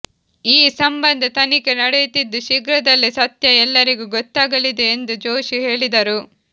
ಈ ಸಂಬಂಧ ತನಿಖೆ ನಡೆಯುತ್ತಿದ್ದು ಶೀಘ್ರದಲ್ಲೆ ಸತ್ಯ ಎಲ್ಲರಿಗೂ ಗೊತ್ತಾಗಲಿದೆ ಎಂದು ಜೋಶಿ ಹೇಳಿದರು